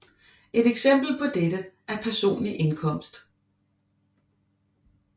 Et eksempel på dette er personlig indkomst